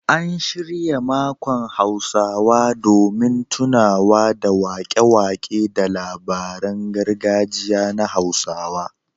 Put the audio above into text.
An shirya makon Hausa domin tunawa da waƙe-waƙe da labaran gargajiya na Hausawa